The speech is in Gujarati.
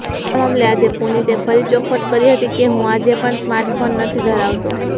જેના મામલે આજે પુતિને ફરી ચોખવટ કરી હતી કે હું આજે પણ સ્માર્ટફોન નથી ધરાવતો